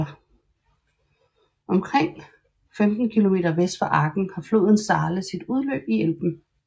Omkring 15 km vest for Aken har floden Saale sit udløb i Elben